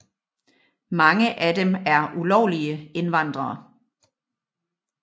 Mange af dem er ulovlige indvandrere